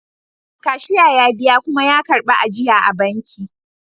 Cashier ya biya kuma ya karbi ajiya a banki